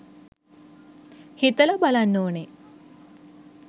හිතලා බලන්න ඕන.